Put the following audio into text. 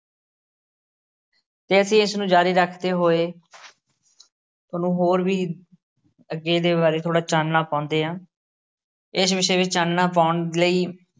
ਅਤੇ ਅਸੀ ਇਸ ਨੂੰ ਜਾਰੀ ਰੱਖਦੇ ਹੋਏ ਤੁਹਾਨੂੰ ਹੋਰ ਵੀ ਅੱਗੇ ਦੇ ਬਾਰੇ ਥੋੜ੍ਹਾ ਚਾਨਣਾ ਪਾਉਂਦੇ ਹਾਂ, ਇਸ ਵਿਸ਼ੇ ਵਿੱਚ ਚਾਨਣਾ ਪਾਉਣ ਲਈ